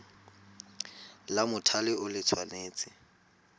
la mothale o le tshwanetse